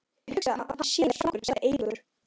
Ég hugsa að hann sé svangur sagði Eiríkur.